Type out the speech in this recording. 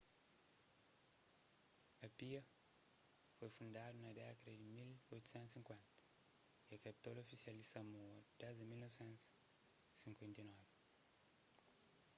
apia foi fundadu na dékada di 1850 y é kapital ofisial di samoa desdi 1959